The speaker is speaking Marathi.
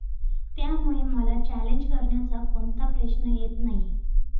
त्यामुळे मला चॅलेंज करण्याचा कोणता प्रश्न येत नाही.